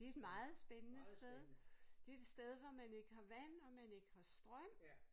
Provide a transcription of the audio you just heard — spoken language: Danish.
Det et meget spændende sted. Det er et sted hvor man ikke har vand og man ikke har strøm